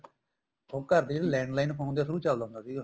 ਉਹ ਘਰ ਦੇ ਜਿਹੜੇ landline phone ਦੇ through ਚਲਦਾ ਹੁੰਦਾ ਸੀਗਾ